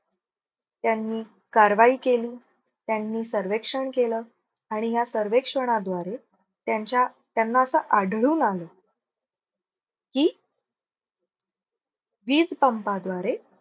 त्यांनी कारवाई केली. त्यांनी सर्वेक्षण केलं आणि या सर्वेक्षणाद्वारे त्यांच्या त्यांना असं आढळून आलं की, वीज पंपाद्वारे